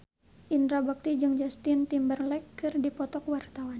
Indra Bekti jeung Justin Timberlake keur dipoto ku wartawan